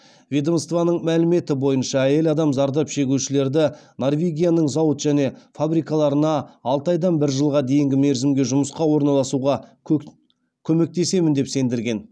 ведомствоның мәліметі бойынша әйел адам зардап шегушілерді норвегияның зауыт және фабрикаларына алты айдан бір жылға дейінгі мерзімге жұмысқа орналасуға көмектесемін деп сендірген